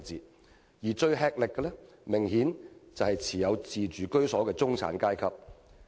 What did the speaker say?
感到最吃力的，明顯是只持有自住居所的中產階層。